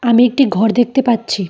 আমি একটি ঘর দেখতে পাচ্ছি।